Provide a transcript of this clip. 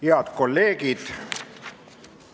Head kolleegid!